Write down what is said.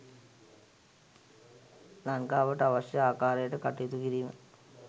ලංකාවට අවශ්‍ය ආකාරයට කටයුතු කිරීම.